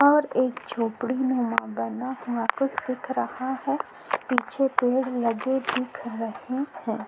और एक झोपड़ी में मगन ना खुश दिख रहा है पीछे पेड़ लगे दिख रहे हैं।